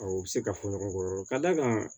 Awɔ u bɛ se ka fɔ ɲɔgɔn kɔ ka d'a kan